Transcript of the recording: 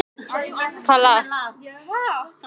Þið látið þennan skúr vera sagði hún.